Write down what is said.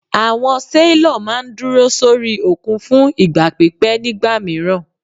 Àwọn sailor máà ń dúró sórí òkun fún ìgbà pípẹ́ nígbà mìíràn.